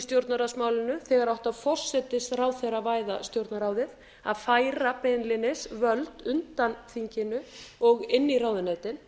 stjórnarráðsmálinu þegar átti að forsætisráðherravæða stjórnarráðið að færa beinlínis völd undan þinginu og inn í ráðuneytin